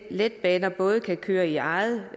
letbaner både kan køre i eget